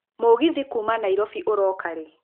mũgithi kuuma nairobi ũroka rĩ